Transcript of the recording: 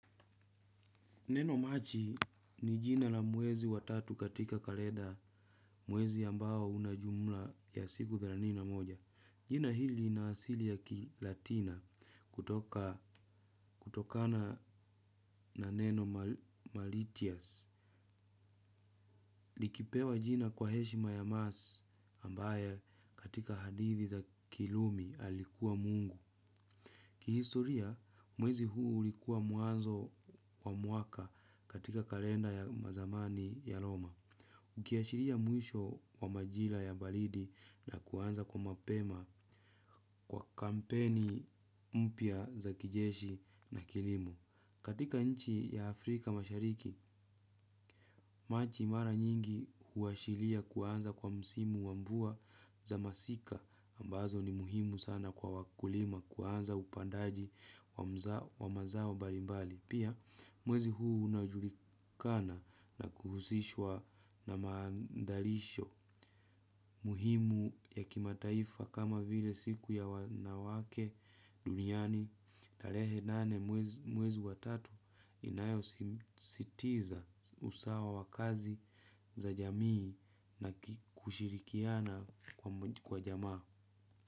Neno maji ni jina la mwezi wa tatu katika kalenda mwezi ambao una jumla ya siku thelathini na moja. Jina hili ina asili ya kilatina kutokana neno malitias. Likipewa jina kwa heshima ya maas ambayo katika hadithi za kirumi alikuwa mungu. Ki historia, mwezi huu ulikuwa mwanzo wa mwaka katika kalenda ya mazamani ya Roma. Ukiashiria mwisho wa majira ya baridi na kuanza kwa mapema kwa kampeni mpya za kijeshi na kilimo. Katika nchi ya Afrika mashariki, maji mara nyingi huashiria kuanza kwa msimu wa mvua za masika ambazo ni muhimu sana kwa wakulima kuanza upandaji wa mazao mbalimbali. Pia mwezi huu unajulikana na kuhusishwa na mandalisho muhimu ya kimataifa kama vile siku ya wanawake duniani. Tarehe nane mwezi wa tatu inayosisitiza usawa wa kazi za jamii na kushirikiana kwa jamaa.